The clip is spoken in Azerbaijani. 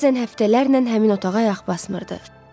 Bəzən həftələrlə həmin otağa ayaq basmırdı.